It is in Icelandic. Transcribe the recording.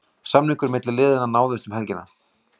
Samningar milli liðana náðust um helgina.